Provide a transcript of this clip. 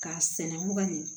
K'a sɛnɛ mugan nin